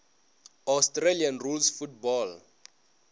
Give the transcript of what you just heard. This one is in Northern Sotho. australian rules football